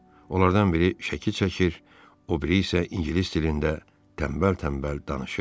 Onlardan biri şəkil çəkir, o biri isə ingilis dilində tənbəl-tənbəl danışırdı.